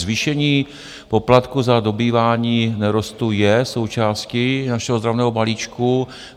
Zvýšení poplatku za dobývání nerostů je součástí našeho ozdravného balíčku.